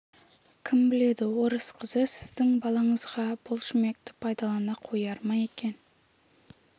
кім біледі орыс қызы сіздің балаңызға бұл шүмекті пайдалана қояр ма екен